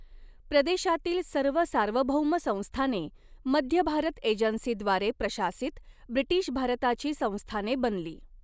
प्रदेशातील सर्व सार्वभौम संस्थाने मध्य भारत एजन्सीद्वारे प्रशासित ब्रिटिश भारताची संस्थाने बनली.